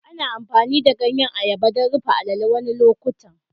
Ana amfani da ganyen ayaba don rufe a'lele wasu lokuta.